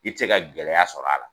I te se ka gɛlɛya sɔrɔ a la